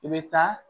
I bɛ taa